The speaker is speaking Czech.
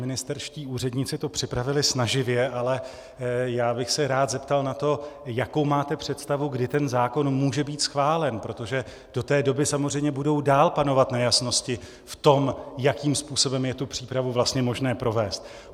Ministerští úředníci to připravili snaživě, ale já bych se rád zeptal na to, jakou máte představu, kdy ten zákon může být schválen, protože do té doby samozřejmě budou dál panovat nejasnosti v tom, jakým způsobem je tu přípravu vlastně možné provést.